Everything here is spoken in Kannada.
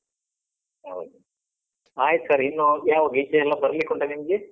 ಹೌದು, ಆಯ್ತು sir ಇನ್ನು ಯಾವಾಗ ಈಚೆ ಎಲ್ಲ ಬರ್ಲಿಕ್ಕುಂಟ ನಿಮ್ಗೆ?